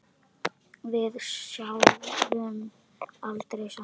Við sváfum aldrei saman.